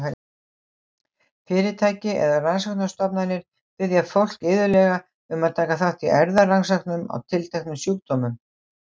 Fyrirtæki eða rannsóknastofnanir biðja fólk iðulega um að taka þátt í erfðarannsóknum á tilteknum sjúkdómum.